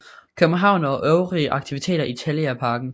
København og øvrige aktiviteter i Telia Parken